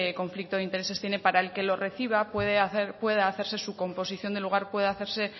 conflicto de intereses tiene para el que lo reciba pueda hacerse su composición del lugar pueda hacerse